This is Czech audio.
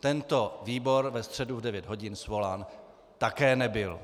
tento výbor ve středu v devět hodin svolán také nebyl.